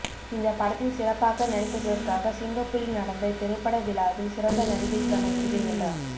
இந்தப் படத்தில் சிறப்பாக நடித்ததற்காக சிங்கப்பூரில் நடந்த திரைப்பட விழாவில் சிறந்த நடிகைக்கான விருதை வென்றார்